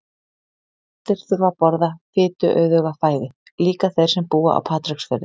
Allir þurfa að borða fituauðuga fæðu, líka þeir sem búa á Patreksfirði.